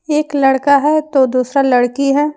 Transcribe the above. एक लड़का है तो दूसरा लड़की है।